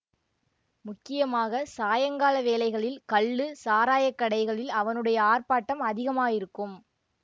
முக்கியமாக சாயங்கால வேளைகளில் கள்ளு சாராய கடைகளில் அவனுடைய ஆர்ப்பாட்டம் அதிகமாயிருக்கும்